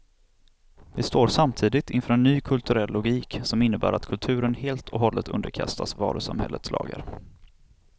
Vi står samtidigt inför en ny kulturell logik, som innebär att kulturen helt och hållet underkastats varusamhällets lagar.